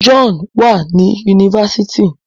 John wá ní Yunifásitì.